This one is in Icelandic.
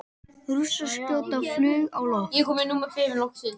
Rússar skjóta flaug á loft